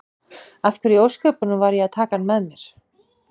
Af hverju í ósköpunum var ég að taka hann að mér?